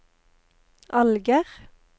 Alger